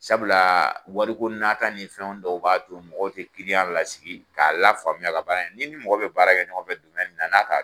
Sabula wari ko naata ni fɛn dɔw b'a to mɔgɔ ti lasigi ka la faamuya a ka baara in na . Ni ni mɔgɔ be baara kɛ ɲɔgɔnfɛ mun na n'a k'a